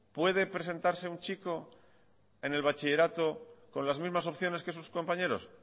puede presentares un chico en el bachillerato con las mismas opciones que sus compañeros